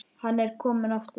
Hann er kominn aftur!